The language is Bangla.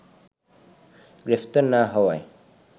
গ্রেপ্তার না হওয়ায়